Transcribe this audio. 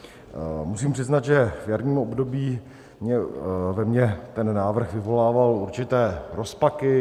Musím přiznat, že v jarním období ve mně ten návrh vyvolával určité rozpaky.